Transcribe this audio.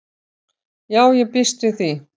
Já ég býst við því.